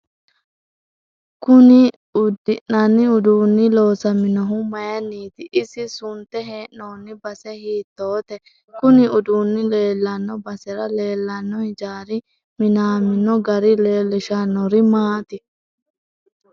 Kuni uddinani uduuni loosaminohu mayiiniiti isi sunte hee'nooni base hiitoote kuni uduuni leelanno basera leelanno hijaari minaminno gari leelishanori maati